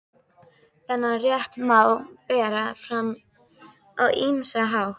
Þennan rétt má bera fram á ýmsan hátt.